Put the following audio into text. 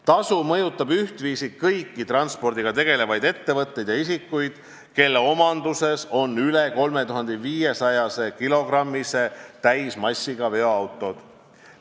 Tasu mõjutab ühtviisi kõiki transpordiga tegelevaid ettevõtteid ja isikuid, kelle omanduses on üle 3500-kilogrammise täismassiga veoautod.